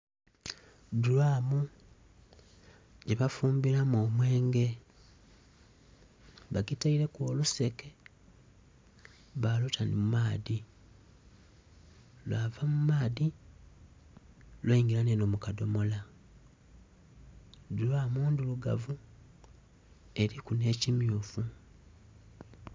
Dhulamu gyebafumbilamu omwenge bagitaireku oluseke baluta mu maadhi lwava mu maadhi lweingila enho mu kadhomola, dhulamu ndhirugavu erimu nhe kimyufu.